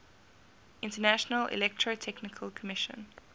international electrotechnical commission